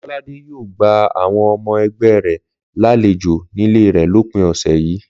Lọ́ládé yóò gba àwọn ọmọ ẹgbẹ́ rẹ̀ lálejò nílé rẹ̀ lópin ọ̀sẹ̀ yìí